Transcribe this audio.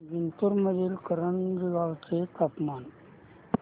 जिंतूर मधील करंजी गावाचे तापमान